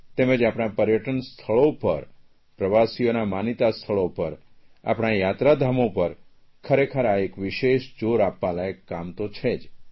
તેમ જ આપણા પર્યટન સ્થળો પર પ્રવાસીઓનાં માનીતા સ્થળો પર આપણાં યાત્રાધામો પર ખરેખર આ એક વિશેષ જોર આપવા લાયક કામ તો છે જ